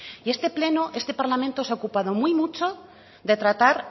y este pleno este parlamento se ha ocupado muy mucho de tratar